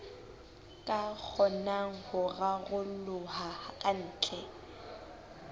ka kgonang ho raroloha kantle